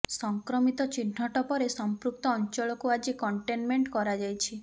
ସଂକ୍ରମିତ ଚିହ୍ନଟ ପରେ ସମ୍ପୃକ୍ତ ଅଞ୍ଚଳକୁ ଆଜି କଣ୍ଟେନମେଣ୍ଟ କରାଯାଇଛି